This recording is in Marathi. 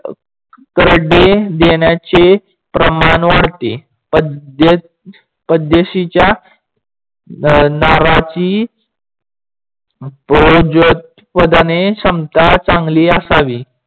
देण्याचे प्रमाण वाढते. पाद्यशीच्या अं नाराची क्षमता चांगली असावी